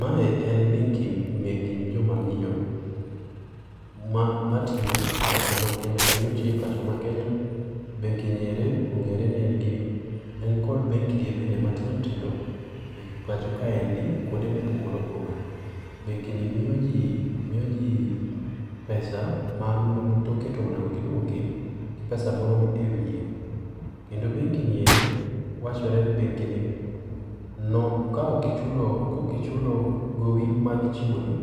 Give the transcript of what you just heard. Ma en benki mek joma miyo ma matiyo e pacho ma Kenya kendo tiyo e pacho ma Kenya. Benki ni eri ong'ere ni engi en kod benki ge bende matindo tindo e pacho kaendi kuonde mopogore opogore. Benki ni miyo jii miyo jii pesa ma toke to onego gi duoki gi pesa moro ewiye. Kendo benki ni eri wachore ni benki ni no, kaok kaok ichulo gowi ma gi chiwoni,